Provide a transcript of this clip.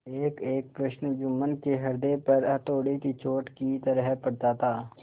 एकएक प्रश्न जुम्मन के हृदय पर हथौड़े की चोट की तरह पड़ता था